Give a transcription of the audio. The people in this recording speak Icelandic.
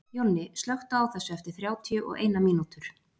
Jonni, slökktu á þessu eftir þrjátíu og eina mínútur.